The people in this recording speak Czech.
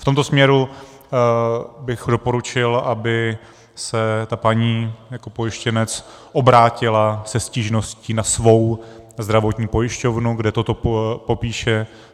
V tomto směru bych doporučil, aby se ta paní jako pojištěnec obrátila se stížností na svou zdravotní pojišťovnu, kde toto popíše.